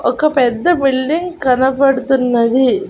ఒక పెద్ద బిల్డింగ్ కనపడుతున్నది.